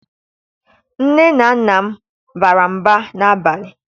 Nne na Nna m bara mba n'abalị